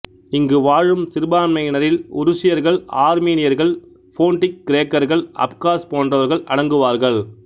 இங்கு வாழும் சிறுபான்மையினரில் உருசியர்கள் ஆர்மீனியர்கள் போன்டிக் கிரேக்கர்கள் அப்காஸ் போன்றவர்கள் அடங்குவார்கள்